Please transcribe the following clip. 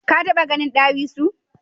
Ka taba ganin dawisu?